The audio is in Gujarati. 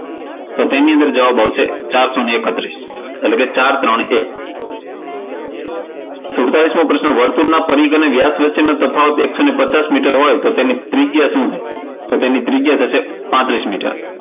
તો તેની અંદર જવાબ આવશે ચારસો એકત્રીસ એટલે કે ચાર ત્રણ એક. સુડતાલીસ મો પ્રશ્ન વર્તુળનો વ્યાસ અને પરિઘ વચ્ચેનો તફાવત એકસો પચાસ મીટર હોય તો તેની ત્રિજ્યા શું થશે? તો ત્રિજ્યા થશે પાંત્રીસ મીટર.